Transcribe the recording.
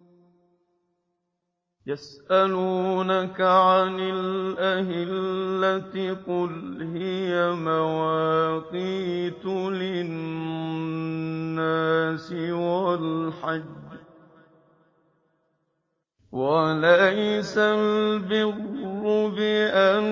۞ يَسْأَلُونَكَ عَنِ الْأَهِلَّةِ ۖ قُلْ هِيَ مَوَاقِيتُ لِلنَّاسِ وَالْحَجِّ ۗ وَلَيْسَ الْبِرُّ بِأَن